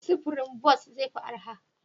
Sufurin bas zai fi arha?